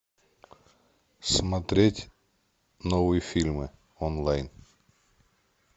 смотреть новые фильмы онлайн